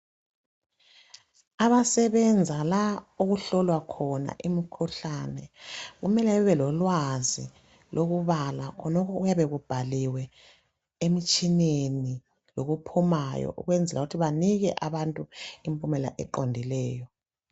Abasebenza la okuhlolwa khona imikhuhlane kumele bebelolwazi lokubala khonokho okuyabe kubhaliwe emitshineni lokuphumayo ukwenzela ukuthi banike abantu impumela eqondileyo.